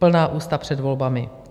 Plná ústa před volbami.